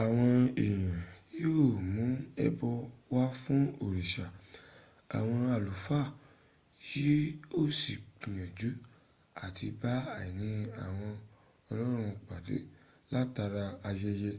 àwọn èèyàn yíò mún ẹbọ wá fún òrìṣà àwọn àlúfà yí ó sì gbìyànjú à ti bá àìní àwọn ọlọ́run pàdé látara ayẹyẹ